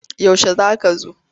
Yaushe za ka zo?